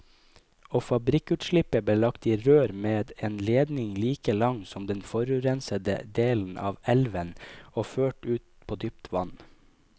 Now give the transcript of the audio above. Og fabrikkutslippet ble lagt i rør med en ledning like lang som den forurensede delen av elven, og ført ut på dypt vann.